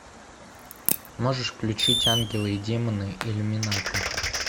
можешь включить ангелы и демоны иллюминаты